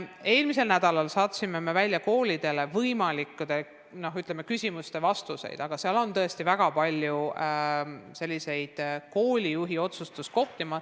Eelmisel nädalal me saatsime koolidele võimalikkude küsimuste vastused, aga nende puhul jääb tõesti väga palju koolijuhtide otsustada.